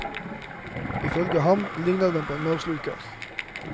Ifølge ham ligner den på en maursluker.